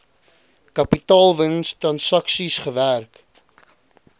kapitaalwins transaksies gewerk